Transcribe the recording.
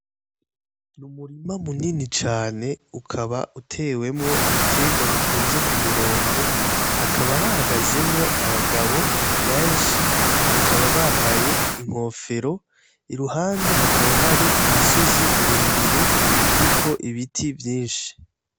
N'umurima munini cane ukaba utewemwo ibiterwa bitonze k'umurongo, hakaba hahagazemwo abagabo benshi bakaba bambaye inkofero, iruhande hakaba hari imisozi miremire iriko Ibiti vyinshi.